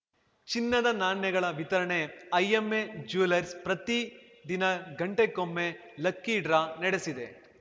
ಚಿನ್ನದ ನಾಣ್ಯಗಳ ವಿತರಣೆ ಐಎಂಎ ಜ್ಯೂವೆಲ್ಲರ್ಸ್‌ ಪ್ರತಿದಿನ ಗಂಟೆಗೊಮ್ಮೆ ಲಕ್ಕಿ ಡ್ರಾ ನಡೆಸಿದೆ